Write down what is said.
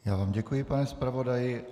Já vám děkuji, pane zpravodaji.